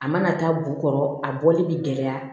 A mana taa b'u kɔrɔ a bɔli bi gɛlɛya